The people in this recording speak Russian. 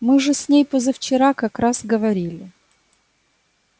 мы же с ней позавчера как раз говорили